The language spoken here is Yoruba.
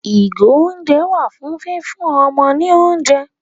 Ìgò-oúnjẹ wà fún fífún ọmọ ní oúnjẹ.